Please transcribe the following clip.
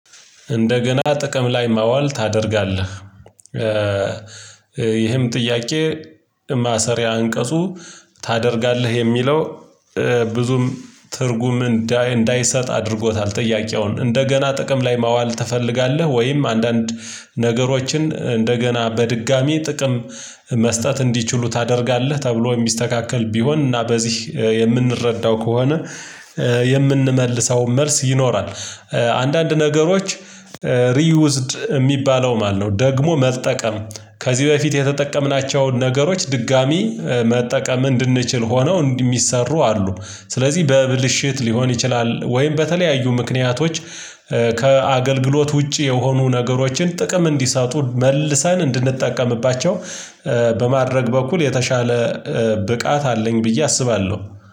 እንደገና ጥቅም ላይ ማዋል ታደርጋለህ። ይህም ጥያቄ ማሰሪያ አንቀጹ ታደርጋለህ የሚለው ብዙም ትርጉም እንዳይሰጥ አድርጎታል ጥያቄውን እንደገና ጥቅም ላይ ማዋል ትፈልጋለህ? ወይም አንዳንድ ነገሮችን እንደገና በድጋሚ ጥቅም መስጠት እንዲችሉ ታደርጋለህ ተብሎ የሚስተካከል ቢሆን እና በዚህ የምንረዳው ከሆነ የምንመልሰው መልስ ይኖራል። ነገሮች ሪዩዝድ የሚባለው ማለት ነው ደግሞ መጠቀም ከዚህ በፊት የተጠቀምናቸውን ነገሮች ድጋሚ መጠቀም እንድንችል ሆነው የሚሰሩ አሉ። ስለዚህ በብልሽት ሊሆን ይችላል ወይም በተለያዩ ምክንያቶች ከአገልግሎት ውጪ የሆኑ ነገሮችን ጥቅም እንዲሰጡ መልሰን እንድንጠቀምባቸው በማድረግ በኩል የተሻለ ብቃት አለኝ ብዬ አስባለሁ።